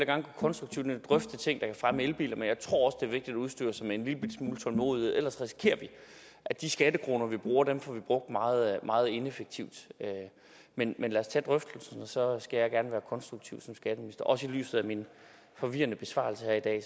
gerne konstruktivt drøfte ting der kan fremme elbiler men jeg tror er vigtigt at udstyre sig med en lillebitte smule tålmodighed ellers risikerer vi at de skattekroner vi bruger får vi brugt meget meget ineffektivt men lad os tage drøftelsen og så skal jeg gerne være konstruktiv som skatteminister også i lyset af min forvirrende besvarelse her i